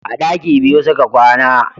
A daki biyu su ka kwana.